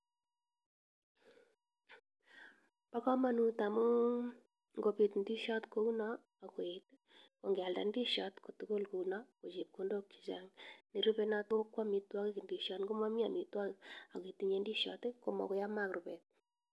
Pa kamanut amu kupit ndisot kouna akoet kongealda ndisiot kotukul kouna kochepkondok chechang, nerube noto ko amitwokik ndisiot komamii amitwokik akitinye ndisiot komakoi amak rupet.